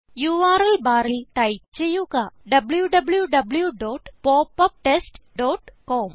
URL ബാറിൽ type ചെയ്യുക w w w dot pop up test dot com